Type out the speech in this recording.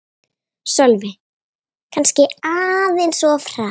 Sölvi: Kannski aðeins of hratt